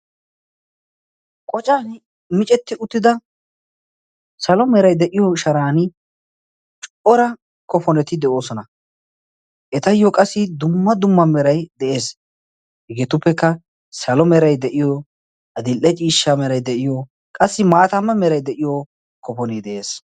qocan micetti uttida salo merai de7iyo sharan cuora kofoneti de7oosona etayyo qassi dumma dumma merai de7ees hegeetuppekka salo merai de7iyo adil7e ciishsha merai de7iyo qassi maatamma merai de7iyo kofonee de7ees